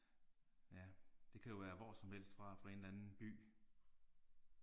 Ja det kan jo være hvor som helst fra fra en eller anden by